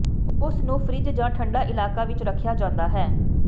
ਉਸ ਨੂੰ ਫਰਿੱਜ ਜਾਂ ਠੰਡਾ ਇਲਾਕਾ ਵਿਚ ਰੱਖਿਆ ਜਾਂਦਾ ਹੈ